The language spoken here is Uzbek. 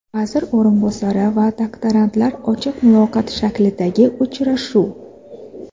Vazir o‘rinbosari va doktorantlar: ochiq muloqot shaklidagi uchrashuv.